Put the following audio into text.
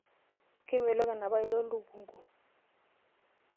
Kemelok enaapailong lukunku.